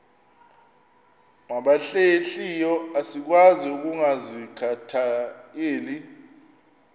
nabahlehliyo asikwazi ukungazikhathaieli